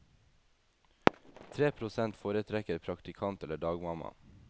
Tre prosent foretrekker praktikant eller dagmamma.